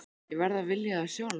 Ég verð að vilja það sjálf.